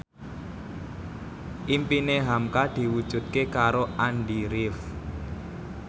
impine hamka diwujudke karo Andy rif